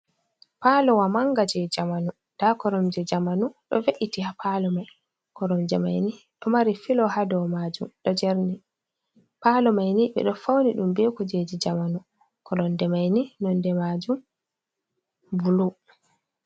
Palowa manga je jamanu, nda koromje jamanu ɗo ve’iti ha palo mai, koromje mai ni ɗo mari filo ha dou majum ɗo jerni. Palo mai ni ɓe ɗo fauni ɗum be kujeji jamanu, koromje maini nonde majum bulu.